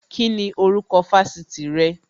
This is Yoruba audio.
Kíni orúkọ Fásitì rẹ?